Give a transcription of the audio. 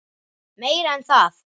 Meira en það.